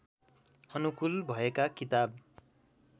अनुकूल भएका किताब